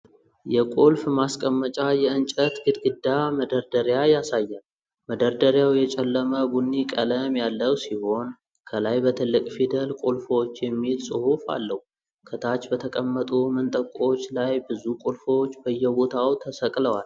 የቁልፍ ማስቀመጫ የእንጨት ግድግዳ መደርደሪያ ያሳያል። መደርደሪያው የጨለመ ቡኒ ቀለም ያለው ሲሆን፤ ከላይ በትልቅ ፊደል "ቁልፎች" የሚል ጽሑፍ አለው። ከታች በተቀመጡ መንጠቆዎች ላይ ብዙ ቁልፎች በየቦታው ተሰቅለዋል።